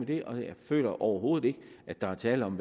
det og jeg føler overhovedet ikke at der er tale om